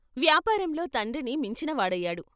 వ్యాపారంలో తండ్రిని మించినవాడయ్యాడు.